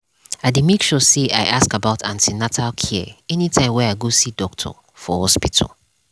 i dey make sure say i ask about an ten atal care anytime wey i go see doctor for hospital.